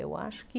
Eu acho que